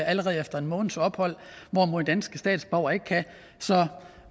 allerede efter en måneds ophold hvorimod danske statsborgere ikke kan så